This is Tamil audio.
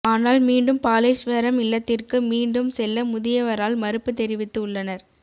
ஆனால் மீண்டும் பாலேஸ்வரம் இல்லத்திற்கு மீண்டும் செல்ல முதியவரால் மறுப்பு தெரிவித்து உள்ளனர்